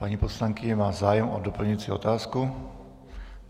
Paní poslankyně má zájem o doplňující otázku.